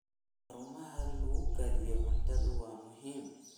Xarumaha lagu kaydiyo cuntada waa muhiim.